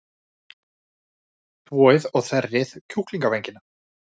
Þvoið og þerrið kjúklingavængina.